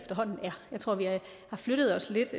jeg tror vi har flyttet os lidt